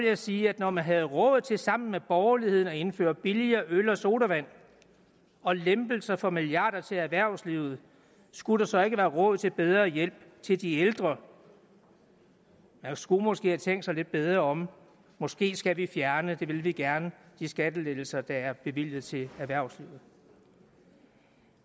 jeg sige at når man havde råd til sammen med borgerligheden at indføre billigere øl og sodavand og lempelser for milliarder til erhvervslivet skulle der så ikke være råd til bedre hjælp til de ældre man skulle måske have tænkt sig lidt bedre om måske skal vi fjerne det vil vi gerne de skattelettelser der er bevilget til erhvervslivet